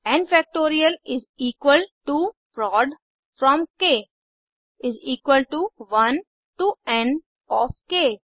N factorial is equal to prod from k 1 to n of क